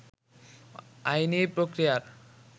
আইনি প্রক্রিয়ার